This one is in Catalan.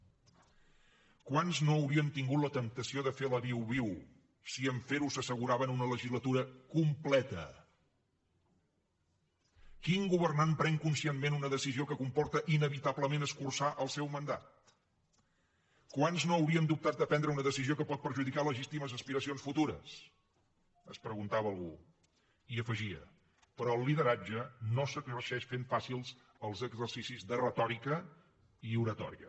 quants no haurien tingut la temptació de fer la viuviu si en fer ho s’asseguraven una legislatura completa quin governant pren conscientment una decisió que comporta inevitablement escurçar el seu mandat quants no haurien dubtat de prendre una decisió que pot perjudicar legítimes aspiracions futures es preguntava algú i afegia però el lideratge no s’exerceix fent fàcils els exercicis de retòrica i oratòria